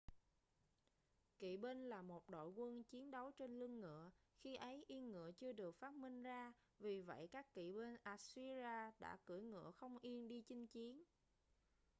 kỵ binh là một đội quân chiến đấu trên lưng ngựa khi ấy yên ngựa chưa được phát minh ra vì vậy các kỵ binh assyria đã cưỡi ngựa không yên đi chinh chiến